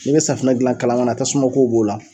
Ni bɛ safunɛ gilan kalan kana na tasuma kow b'o la